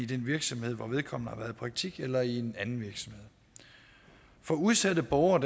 den virksomhed hvor vedkommende har været i praktik eller i en anden virksomhed for udsatte borgere